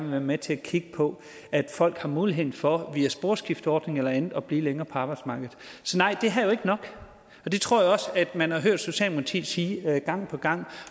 være med til at kigge på at folk har mulighed for via sporskifteordning eller andet at blive længere på arbejdsmarkedet så nej det her er ikke nok og det tror jeg også man har hørt socialdemokratiet sige gang på gang